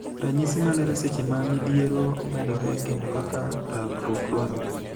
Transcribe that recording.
Ranyisi malero seche ma midhiero medore kendo kaka rakruok dwarore.